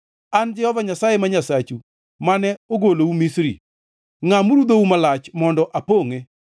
An Jehova Nyasaye, ma Nyasachu, mane ogolou Misri. Ngʼamuru dhou malach mondo apongʼe.